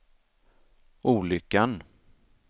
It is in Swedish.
olyckan